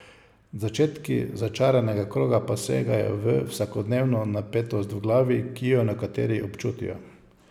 Začetki začaranega kroga pa segajo v vsakodnevno napetost v glavi, ki jo nekateri občutijo.